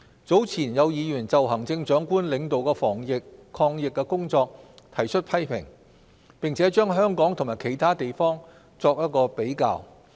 早前有議員就行政長官領導的防疫抗疫工作提出批評，並將香港與其他地方作比較。